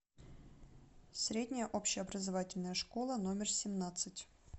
средняя общеобразовательная школа номер семнадцать